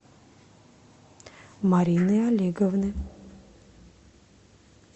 марины олеговны